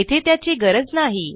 येथे त्याची गरज नाही